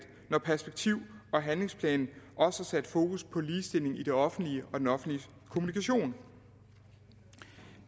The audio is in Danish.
når perspektiv og handlingsplanen også har sat fokus på ligestilling i det offentlige og den offentlige kommunikation